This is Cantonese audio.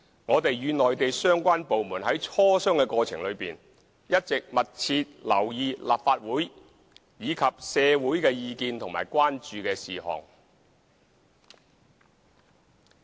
我們與內地相關部門在磋商過程中，一直密切留意立法會及社會的意見和關注事項。